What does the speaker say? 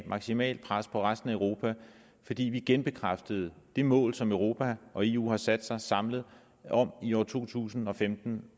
maksimalt pres på resten af europa fordi vi genbekræftede det mål som europa og eu har sat sig samlet om i år to tusind og femten